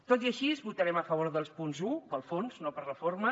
tot i així votarem a favor del punt un pel fons no per la forma